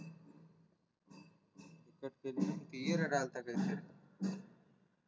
okay